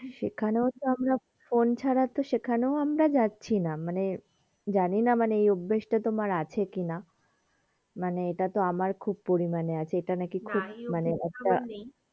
সেইখানেও তো আমরা ফোন ছাড়া তো সেইখানেও যাচ্ছি না মানে জানিনা মানে এই অভ্যেস টা তোমার আছে কি না মানে এইটা তো আমার খুব পরিমানে আছে এইটা নাকি না